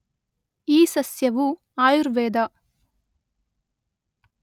ಈ ಸಸ್ಯವು ಆಯುರ್ವೇದ